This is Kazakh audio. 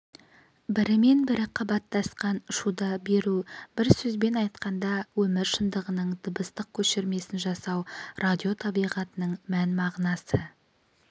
бірімен-бірі қабаттасқан шуды беру бір сөзбен айтқанда өмір шындығының дыбыстық көшірмесін жасау радио табиғатының мән-мағынасы